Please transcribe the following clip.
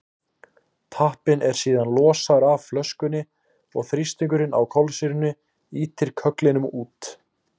tappinn er síðan losaður af flöskunni og þrýstingurinn á kolsýrunni ýtir kögglinum út